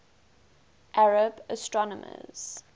arab astronomers